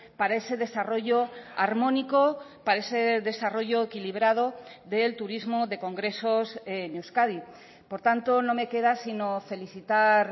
para ese desarrollo armónico para ese desarrollo equilibrado del turismo de congresos en euskadi por tanto no me queda si no felicitar